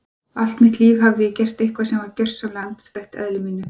Allt mitt líf hafði ég gert eitthvað sem var gjörsamlega andstætt eðli mínu.